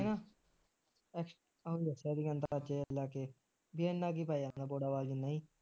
ਆਹ ਦਸਿਆ ਸੀਗਾ ਲਾਗੇ ਬਈ ਇਨਾ ਈ ਪੈ ਜਾਂਦਾ ਬੋਦਾਵਾਲ ਜਿਨ੍ਹਾਂ ਈ